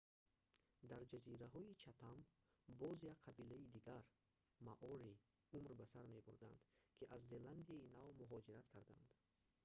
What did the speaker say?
дар ҷазираҳои чатам боз як қабилаи дигар маорӣ умр ба сар мебурданд ки аз зеландияи нав муҳоҷират кардаанд